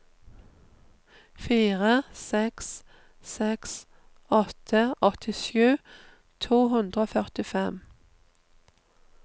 fire seks seks åtte åttisju to hundre og førtifem